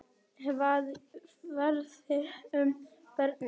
Hvað verður um börnin?